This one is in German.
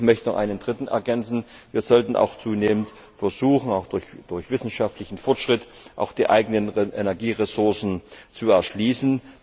Ich möchte noch einen dritten ergänzen Wir sollten zunehmend versuchen, auch durch wissenschaftlichen Fortschritt, die eigenen Energieressourcen zu erschließen.